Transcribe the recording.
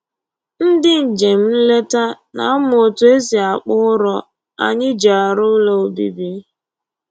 Ndị njem nleta na-amụ otu e si akpụ ụrọ anyị ji arụ ụlọ obibi